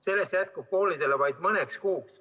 Sellest jätkub koolidele vaid mõneks kuuks.